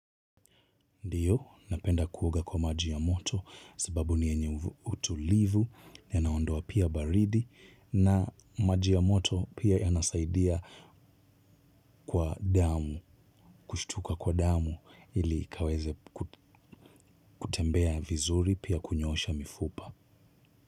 Ndiyo napenda kuoga kwa maji ya moto sababu ni yenye utulivu yanaondoa pia baridi na maji ya moto pia yanasaidia kwa damu kushtuka kwa damu ili ikaweze kutembea vizuri pia kunyoosha mifupa.